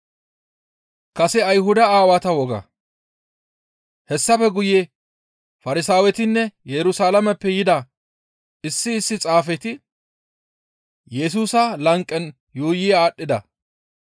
Hessafe guye Farsaawetinne Yerusalaameppe yida issi issi xaafeti Yesusa lanqen yuuyi aadhdhida.